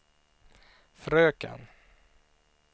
fröken